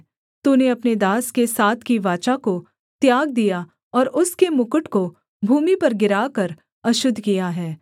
तूने अपने दास के साथ की वाचा को त्याग दिया और उसके मुकुट को भूमि पर गिराकर अशुद्ध किया है